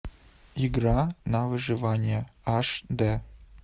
игра на выживание аш д